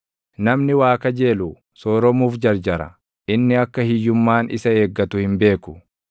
Namni waa kajeelu sooromuuf jarjara; inni akka hiyyummaan isa eeggatu hin beeku.